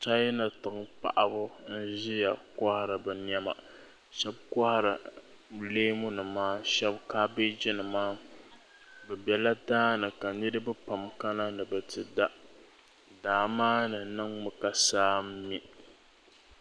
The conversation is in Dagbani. Chana tiŋa paɣaba n ziya kɔhiri bi nɛma shɛba kɔhiri leemu nima shɛba kɔhiri leemu nima shɛba kabieji mima bi bɛla daani ka niriba pam kana ni biti da daa maa ni niŋmi ka saa n mi.